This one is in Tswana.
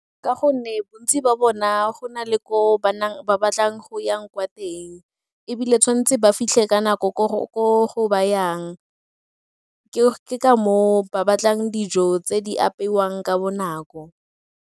Ka gonne bontsi jwa bona go na le ko ba batlang go yang kwa teng ebile tshwan'tse ba fitlhe ka nako ko ba yang, ke ka moo ba batlang dijo tse di apeiwang ka bonako.